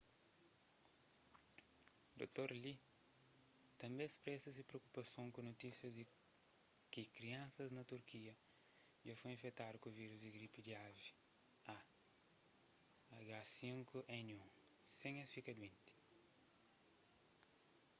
dr. lee tanbê spresa se preokupason ku notísias di ki kriansas na turkia dja foi infektadu ku vírus di gripu di avi ah5n1 sen es fika duenti